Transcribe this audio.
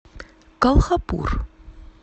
колхапур